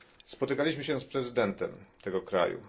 Spotykaliśmy się z prezydentem tego kraju.